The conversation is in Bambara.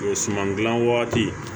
O suman gilan wagati